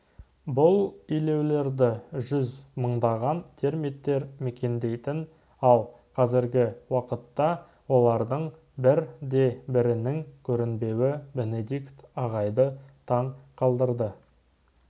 бұл илеулерді жүз мыңдаған термиттер мекендейтін ал қазіргі уақытта олардың бір де бірінің көрінбеуі бенедикт ағайды таң қалдырды